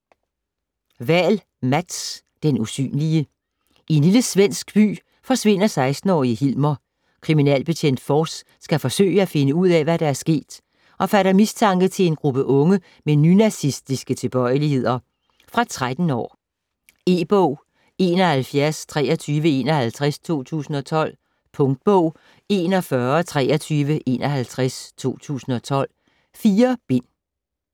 Wahl, Mats: Den usynlige I en lille svensk by forsvinder 16-årige Hilmer. Kriminalbetjent Fors skal forsøge at finde ud af, hvad der er sket, og fatter mistanke til en gruppe unge med nynazistiske tilbøjeligheder. Fra 13 år. E-bog 712351 2012. Punktbog 412351 2012. 4 bind.